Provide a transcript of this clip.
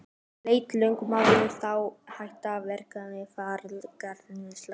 Lét lögmaður þá hætta frekari eftirgrennslan.